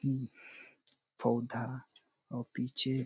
पौधा अउ पीछे--